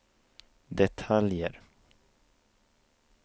detaljer